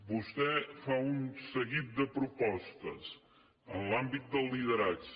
vostè fa un seguit de propostes en l’àmbit del lideratge